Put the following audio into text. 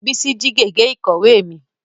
Bísí jí gègé ìkọ̀wé mi